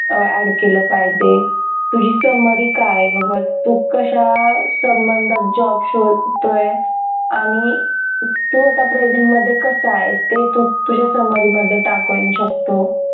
अं add केलं पाहिजे तुझी summary काय बाबा तू कश्यात संबंधात job शोधतोय आणि तू आता present मध्ये कसाय? ते तू तुझ्या summary मध्ये टाकू शकतो